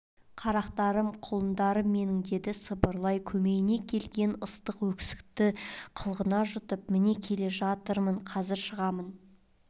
қарақтарым құлындарым менің деді сыбырлай көмейне кептелген ыстық өксікті қылғына жұтып міне келе жатырмын қазір шығамын